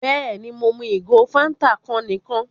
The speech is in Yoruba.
Bẹ́ẹ̀ni, Mo mú igò Fántà kan níkan